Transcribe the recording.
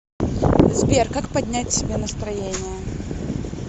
сбер как поднять себе настроение